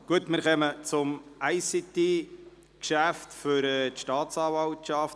Wir kommen zum ICT-Geschäft betreffend die Staatsanwaltschaft.